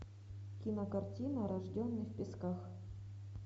кинокартина рожденный в песках